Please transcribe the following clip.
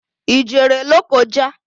I jere Lokoja?